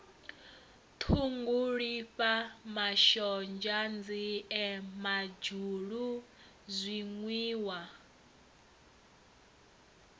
ṱhungulifha mashonzha nzie madzhulu zwinwiwa